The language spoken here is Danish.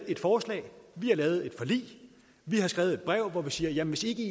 et forslag vi har lavet et forlig vi har skrevet et brev hvor vi siger hvis i ikke